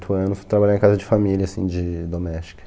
anos, foi trabalhar em casa de família, assim, de doméstica.